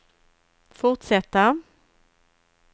fortsätta